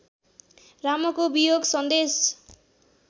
रामको वियोगसन्देश